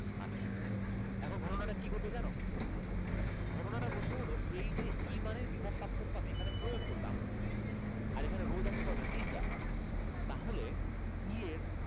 R three, এখন ঘটনাটা কি ঘটবে জানো? ঘটনা টা ঘটবে হলো এই যে E মানের বিভব পার্থক্য এখানে আমি প্রয়োগ করলাম আর এখানে রোধ আছে কয়টা, তিনটা। তাহলে E এর,